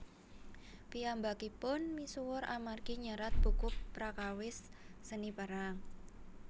Piyambakipun misuwur amargi nyerat buku prakawis Seni Perang